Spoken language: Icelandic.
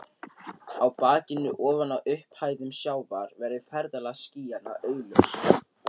Á bakinu ofaná upphæðum sjávar verður ferðalag skýjanna augljóst.